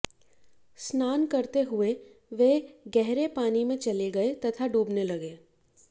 स्नान करते हुए वे गहरे पानी में चले गये तथा डूबने लगे